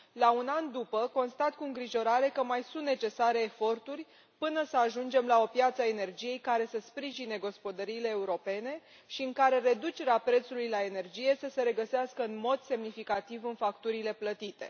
La un an după, constat cu îngrijorare că mai sunt necesare eforturi până să ajungem la o piață a energiei care să sprijine gospodăriile europene și în care reducerea prețului la energie să se regăsească în mod semnificativ în facturile plătite.